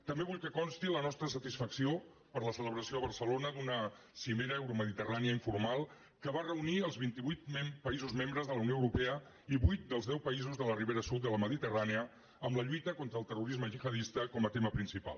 també vull que consti la nostra satisfacció per la celebració a barcelona d’una cimera euromediterrània informal que va reunir els vint i vuit països membres de la unió europea i vuit dels deu països de la ribera sud de la mediterrània en la lluita contra el terrorisme gihadista com a tema principal